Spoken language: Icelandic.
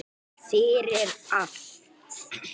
Fyrir allt.